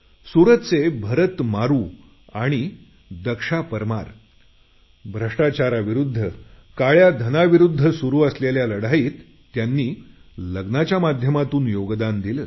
सुरतचे भरत मारू आणि दक्ष परमान भ्रष्टाचाराविरुद्ध काळ्या धनाविरुद्ध सुरू असलेल्या लढाईत त्यांच्या लग्नाच्या माध्यमातून योगदान दिलं